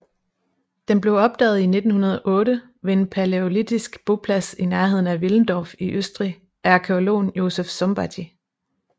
Den blev opdaget i 1908 ved en palæolitisk boplads i nærheden af Willendorf i Østrig af arkæologen Josef Szombathy